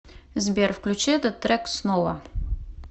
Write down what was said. сбер включи этот трек снова